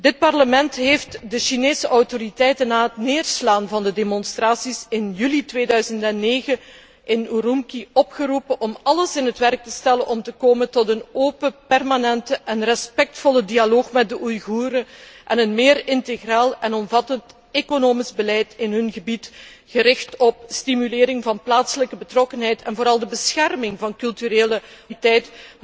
Dit Parlement heeft de Chinese autoriteiten na het neerslaan van de demonstraties in juli 2009 in Urumqi opgeroepen om alles in het werk te stellen om te komen tot een open, permanente en respectvolle dialoog met de Oeigoeren, en een meer integraal en omvattend economisch beleid in hun gebied, gericht op de stimulering van de plaatselijke betrokkenheid en vooral de bescherming van de culturele Oeigoerse identiteit.